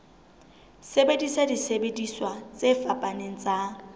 sebedisa disebediswa tse fapaneng tsa